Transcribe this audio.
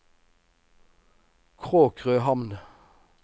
Kråkrøhamn